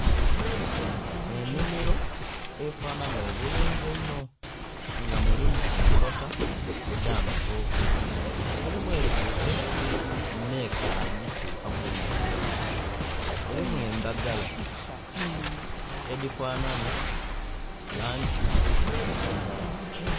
Enhimiro efanhanha obulungi einho nga mulimu enkota edha matoke, mulimu etuuse nhe'kali tuka kulibwa, mulimu endhagala edhi fanhanha langi ya kilagala.